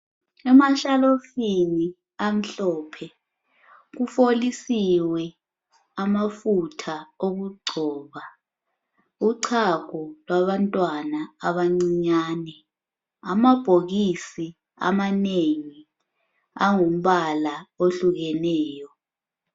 Emashalofini amhlophe kufolisiwe amafutha okugcoba, uchago lwabantwana abancinyane. Amabhokisi amanengi angumbala ohlukeneyo